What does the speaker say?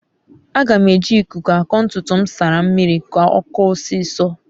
aga m a eji ikuku ako ntutu m nsara mmiri ka okoo osiso